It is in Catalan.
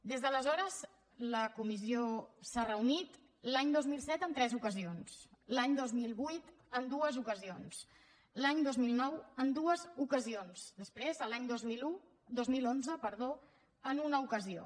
des d’aleshores la comissió s’ha reunit l’any dos mil set en tres ocasions l’any dos mil vuit en dues ocasions l’any dos mil nou en dues ocasions després l’any dos mil onze en una ocasió